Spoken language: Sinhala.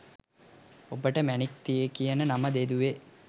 ඔබට මැණික් කියන නම යෙදුවෙ?